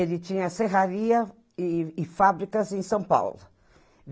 Ele tinha serraria e e fábricas em São Paulo.